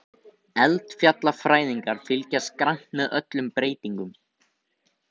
Eldfjallafræðingar fylgjast grannt með öllum breytingum